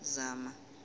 zama